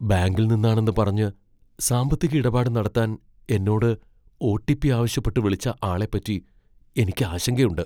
ബാങ്കിൽ നിന്നാണെന്ന് പറഞ്ഞ് സാമ്പത്തിക ഇടപാട് നടത്താൻ എന്നോട് ഒ.ടി.പി. ആവശ്യപ്പെട്ട് വിളിച്ച ആളെപ്പറ്റി എനിക്ക് ആശങ്കയുണ്ട്.